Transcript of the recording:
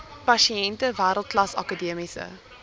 pasiënte wêreldklas akademiese